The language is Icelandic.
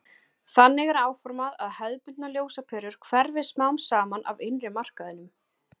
Þannig er áformað að hefðbundnar ljósaperur hverfi smám saman af innri markaðinum.